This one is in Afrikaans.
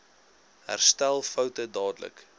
herstel foute dadelik